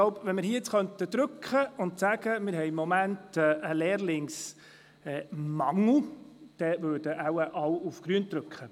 Hätten wir im Moment einen Lehrlingsmangel, würden wohl alle den grünen Knopf drücken.